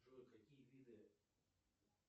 джой какие виды